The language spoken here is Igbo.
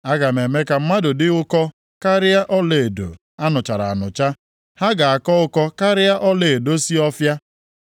Aga m eme ka mmadụ dị ụkọ karịa ọlaedo a nụchara anụcha, ha ga-akọ ụkọ karịa ọlaedo si Ọfịa.